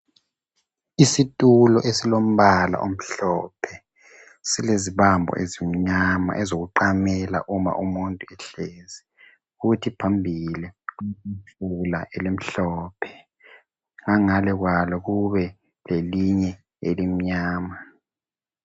Isitulo esilombala omhlophe, silezibambo ezimnyama ezokuqamela uma umuntu ehlezi, kuthi phambili kuletafula elimhlophe, ngangale kwalo kube lelinye elimnyama.